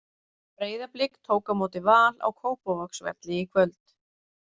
Breiðablik tók á móti Val á Kópavogsvelli í kvöld.